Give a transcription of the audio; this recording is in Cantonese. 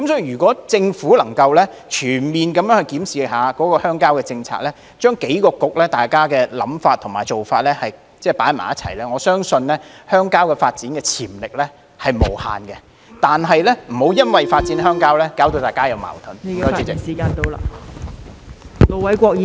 如果政府能全面檢視鄉郊政策，將數個政策局的想法和做法統籌協作，我相信鄉郊發展的潛力是無限的，但請不要因為發展鄉郊而有矛盾......